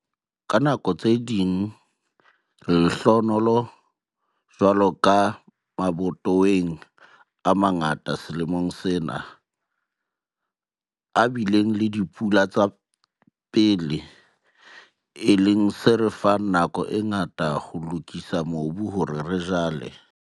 Ka nako tse ding re lehlohonolo, jwalo ka mabatoweng a mangata selemong sena, a bileng le dipula tsa pele, e leng se re fang nako e ngata ya ho lokisa mobu hore re jale.